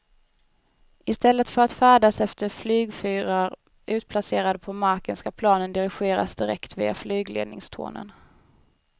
I stället för att färdas efter flygfyrar utplacerade på marken ska planen dirigeras direkt via flygledningstornen.